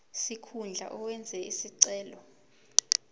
sikhundla owenze isicelo